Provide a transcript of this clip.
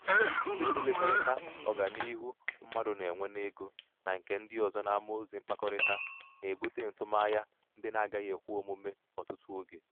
ịtụlekọrịta ọganiihu mmadụ na-enwe n'ego na nke ndị ọzọ n'amaozi mkpakọrịta na-ebute ntụmanya ndị na-agaghị ekwe omume ọtụtụ oge.